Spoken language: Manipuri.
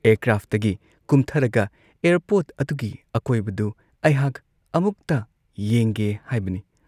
ꯑꯦꯌꯔꯀ꯭ꯔꯥꯐꯇꯒꯤ ꯀꯨꯝꯊꯔꯒ ꯑꯦꯌꯥꯔꯄꯣꯔꯠ ꯑꯗꯨꯒꯤ ꯑꯀꯣꯏꯕꯗꯨ ꯑꯩꯍꯥꯛ ꯑꯃꯨꯛꯇ ꯌꯦꯡꯒꯦ ꯍꯥꯏꯕꯅꯤ ꯫